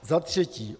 Za třetí.